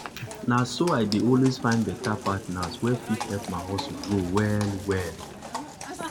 na so i dey always find better partners wey fit help my hustle grow well-well.